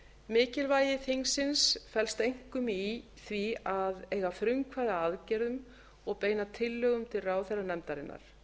mikilvægi þingsins felst einkum í því að eiga frumkvæði að aðgerðum og beina tillögum til ráðherranefndarinnar